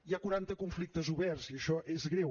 hi ha quaranta conflictes oberts i això és greu